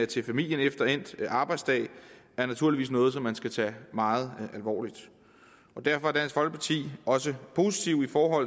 til familien efter endt arbejdsdag er naturligvis noget som man skal tage meget alvorligt derfor er dansk folkeparti også positiv for